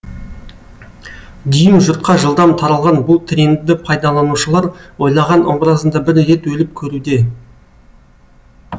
дүйім жұртқа жылдам таралған бұл трендті пайдаланушылар ойлаған образында бір рет өліп көруде